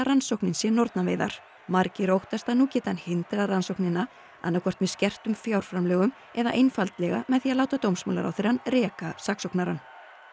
rannsókninni sem nornaveiðum margir óttast að nú geti hann hindrað rannsóknina annaðhvort með skertum fjárframlögum eða einfaldlega með því að láta dómsmálaráðherrann reka saksóknarann